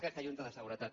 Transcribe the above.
aquesta junta de seguretat